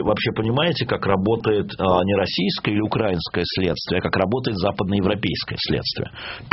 вообще понимаете как работает не российское или украинское следствие а как работает западно-европейское следствие